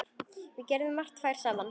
Við gerðum margt tvær saman.